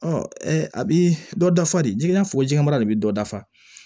a bi dɔ dafa de ji i n'a fɔ ji jɛman mara de bi dɔ dafa